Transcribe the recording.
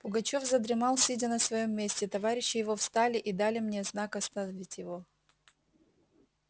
пугачёв задремал сидя на своём месте товарищи его встали и дали мне знак оставить его